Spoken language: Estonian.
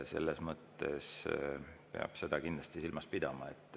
Seda peab kindlasti silmas pidama.